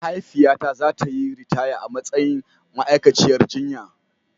Mahaifiyata za ta yi ritaya a matsayin ma'aikaciyar jinya.